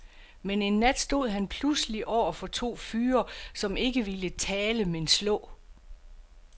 Men en nat stod han pludselig over for to fyre, som ikke ville tale men slå.